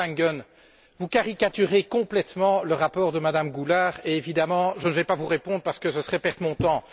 Monsieur Langen, vous caricaturez complètement le rapport de Mme Goulard et, évidemment, je ne vais pas vous répondre parce que ce serait perdre mon temps.